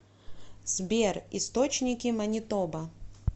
сбер источники манитоба